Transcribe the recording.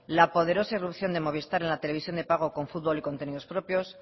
la poderosa irrupción de movistar en la televisión de pago con fútbol y con contenidos propios